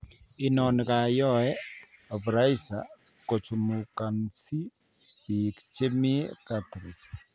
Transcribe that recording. Inoni koyoe vaporizer kochumukansi beek chemii cartridge